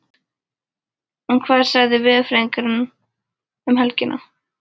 En hvað segja veðurfræðingarnir um helgina?